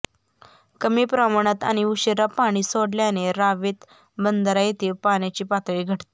कमी प्रमाणात आणि उशीरा पाणी सोडल्याने रावेत बंधारा येथे पाण्याची पातळी घटते